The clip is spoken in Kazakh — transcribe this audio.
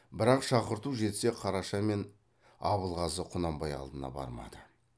бірақ шақырту жетсе қараша мен абылғазы құнанбай алдына бармады